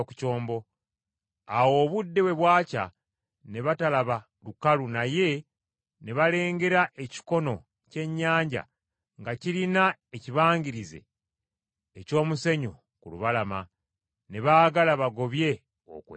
Awo obudde bwe bwakya ne batalaba lukalu naye ne balengera ekikono ky’ennyanja nga kirina ekibangirizi eky’omusenyu ku lubalama, ne baagala bagobye okwo ekyombo.